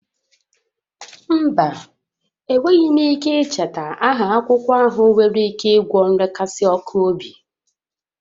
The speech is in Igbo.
Mba, enweghị m ike icheta aha akwụkwọ ahụ nwere ike ịgwọ nrekasi ọkụ obi